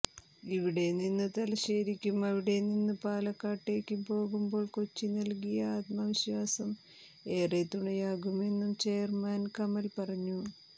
ഇവിടെനിന്നു തലശ്ശേരിക്കും അവിടെനിന്നു പാലക്കാട്ടേക്കും പോകുമ്പോൾ കൊച്ചി നൽകിയ ആത്മവിശ്വാസം ഏറെ തുണയാകുമെന്നു ചെയർമാൻ കമൽ പറഞ്ഞു